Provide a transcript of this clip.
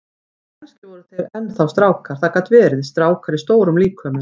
Kannski voru þeir enn þá strákar, það gat verið, strákar í stórum líkömum.